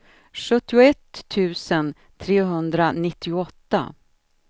sjuttioett tusen trehundranittioåtta